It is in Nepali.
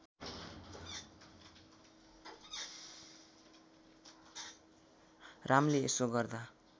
रामले यसो गर्दा